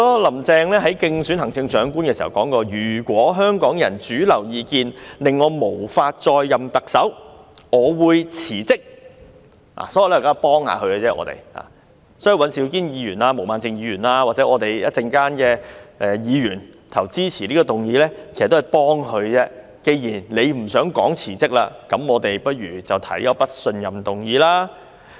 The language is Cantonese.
林鄭月娥競選行政長官時曾經說，如果香港人主流意見令她無法再任特首，她會辭職，所以，我們現在只是幫她一把，稍後尹兆堅議員、毛孟靜議員或投票支持這項議案的議員，其實也是在幫助她，既然她不想說辭職，那我們便提出不信任議案。